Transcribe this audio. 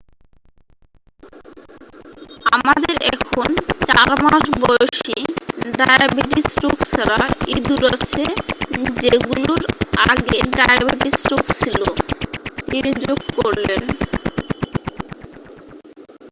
"""আমাদের এখন ৪-মাস-বয়সী ডায়াবেটিস রোগ ছাড়া ইদুর আছে যেগুলোর আগে ডায়াবেটিস রোগ ছিল," তিনি যোগ করলেন।